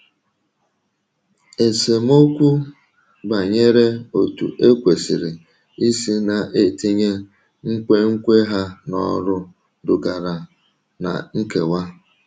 Esemokwu banyere otú e kwesịrị isi na - etinye nkwenkwe ha n’ọrụ dugara ná nkewa.